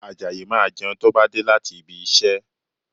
Àjàyí máa jẹun tó bá dé láti ibi iṣẹ́